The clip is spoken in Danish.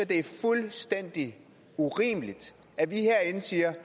det er fuldstændig urimeligt at vi herinde siger